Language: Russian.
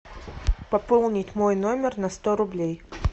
пополнить мой номер на сто рублей